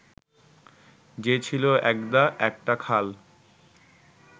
যে ছিল একদা একটা খাল